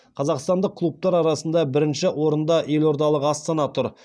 қазақстандық клубтар арасында бірінші орында елордалық астана тұр